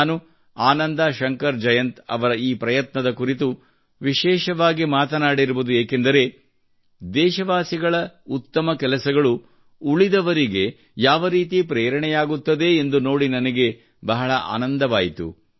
ನಾನು ಆನಂದಾ ಶಂಕರ್ ಜಯಂತ್ ಅವರ ಈ ಪ್ರಯತ್ನ ಕುರಿತು ವಿಶೇಷವಾಗಿ ಮಾತನಾಡಿರುವುದು ಏಕೆಂದರೆ ಯಾವ ರೀತಿ ದೇಶವಾಸಿಗಳ ಉತ್ತಮ ಕೆಲಸಗಳು ಉಳಿದವರಿಗೆ ಯಾವರೀತಿ ಪ್ರೇರಣೆಯಾಗುತ್ತದೆ ಎಂದು ನೋಡಿ ನನಗೆ ಬಹಳ ಆನಂದವಾಯಿತು